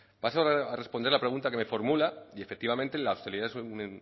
paso a responder la pregunta que me formula y efectivamente la hostelería es un